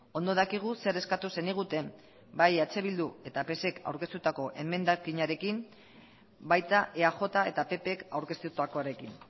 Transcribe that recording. ondo dakigu zer eskatu zeniguten bai eh bilduk eta psek aurkeztutako emendakinarekin baita eaj eta ppek aurkeztutakoarekin